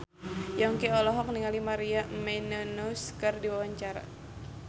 Yongki olohok ningali Maria Menounos keur diwawancara